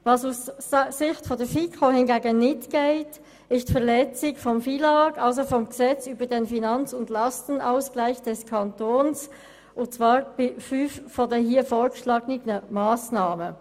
Was aus Sicht der FiKo hingegen nicht geht, ist die Verletzung des FILAG bei fünf der hier vorgeschlagenen Massnahmen.